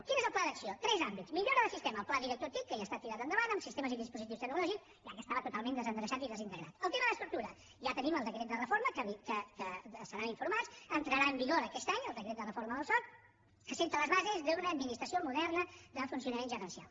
quin és el pla d’acció tres àmbits millora del sistema el pla director tic que ja ha estat tirat endavant amb sistemes i dispositius tecnològics ja que estava totalment desendreçat i desintegrat el tema d’estructura ja tenim el decret de reforma que en seran informats entrarà en vigor aquest any el decret de reforma del soc que assenta les bases d’una administració moderna de funcionament gerencial